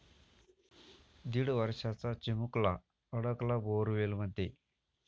दीड वर्षाचा चिमुलका अडकला बोअरवेलमध्ये